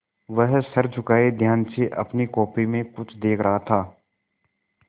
वह सर झुकाये ध्यान से अपनी कॉपी में कुछ देख रहा था